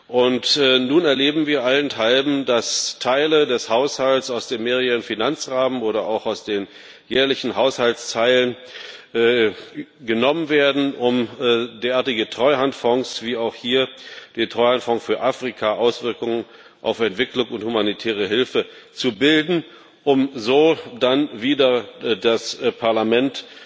Und nun erleben wir allenthalben, dass Teile des Haushalts aus dem mehrjährigen Finanzrahmen oder auch aus den jährlichen Haushaltsteilen genommen werden, um derartige Treuhandfonds, wie auch hier den Treuhandfonds für Afrika Auswirkungen auf Entwicklung und humanitäre Hilfe, zu bilden, um so dann wieder das Parlament